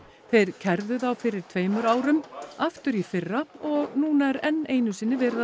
þeir kærðu það fyrir tveimur árum aftur í fyrra og núna er enn einu sinni verið að